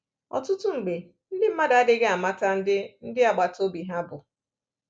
Ọtụtụ mgbe, ndị mmadụ adịghị amata ndị ndị agbata obi ha bụ.